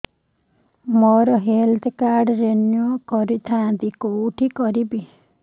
ମୋର health card renew କରିଥାନ୍ତି କୋଉଠି କରିବି